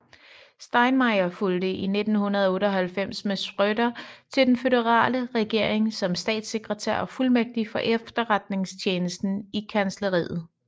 Steinmeier fulgte i 1998 med Schröder til den føderale regering som statssekretær og fuldmægtig for efterretningstjenesten i kansleriet